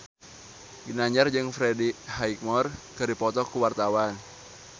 Ginanjar jeung Freddie Highmore keur dipoto ku wartawan